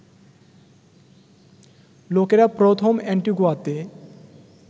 লোকেরা প্রথম অ্যান্টিগুয়াতে